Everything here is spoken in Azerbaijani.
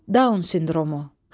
Down sindromu.